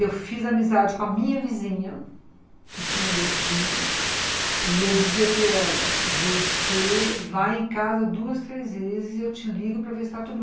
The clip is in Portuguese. Eu fiz amizade com a minha vizinha, que tinha dois filhos, e eu dizia para ela, você vai em casa duas, três vezes e eu te ligo para ver se está tudo bem.